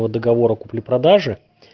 по договору купли-продажи